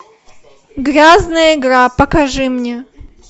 грязная игра покажи мне